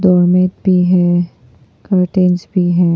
और मैट भी है कर्टेन्स भी है।